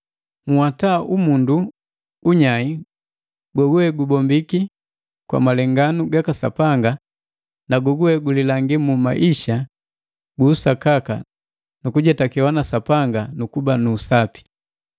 Nhwata umundu unyai goguwe gubombiki kwa malenganu gaka Sapanga na goguwe gulilangi mu maisha gu usakaka nu gukujetakewa na Sapanga nukuba nu usapi.